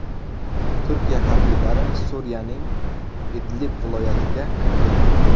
Turkiya harbiylari Suriyaning Idlib viloyatiga kirdi.